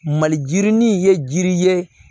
Malirin ye jiri ye